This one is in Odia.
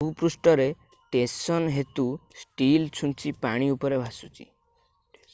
ଭୂପୃଷ୍ଠ ରେ ଟେଂସନ୍ ହେତୁ ଷ୍ଟିଲ ଛୁଞ୍ଚି ପାଣି ଉପରେ ଭାସୁଛି